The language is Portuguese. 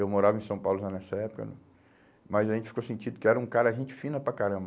Eu morava em São Paulo já nessa época né, mas a gente ficou sentindo que era um cara, gente fina para caramba.